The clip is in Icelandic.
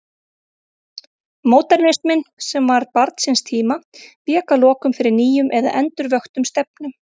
Módernisminn, sem var barn síns tíma, vék að lokum fyrir nýjum eða endurvöktum stefnum.